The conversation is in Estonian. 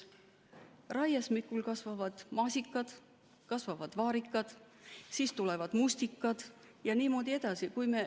Raiesmikul kasvavad maasikad, kasvavad vaarikad, siis tulevad mustikad ja niimoodi edasi.